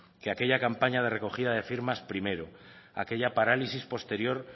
que aquella campaña de recogida de firmas primero aquella parálisis posterior